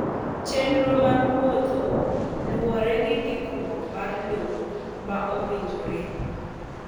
Chenro mag wuotho ​​luwore gi ndikruok mar lowo ma owinjore.